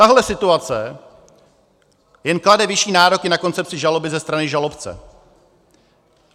Tahle situace jen klade vyšší nároky na koncepci žaloby ze strany žalobce.